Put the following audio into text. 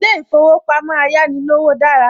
Ilé ìfowópamọ́ Ayánilówó dára